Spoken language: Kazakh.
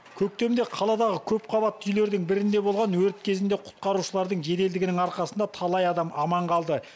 көктемде қаладағы көпқабатты үйлердің бірінде болған өрт кезінде құтқарушылардың жеделдігінің арқасында талай адам аман қалды